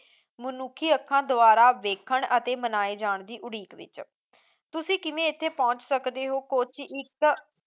ਮਨੁੱਖੀ ਅੱਖਾਂ ਦੁਆਰਾ ਦੇਖਣ ਤੇ ਮਨਾਏ ਜਾਂ ਦੀ ਉਡੀਕ ਵਿੱਚ ਤੁਸੀਂ ਕਿਵੇਂ ਇੱਥੇ ਪਹੁੰਚ ਸਕਦੇ ਹੋ ਕੋੱਚੀ ਇੱਕ